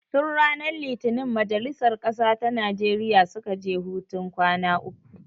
Tun ranar litinin majalisar ƙasa ta Najeriya suka je hutun kwana uku